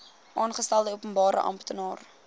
aangestelde openbare amptenaar